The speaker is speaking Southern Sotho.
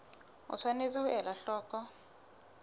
o tshwanetse ho ela hloko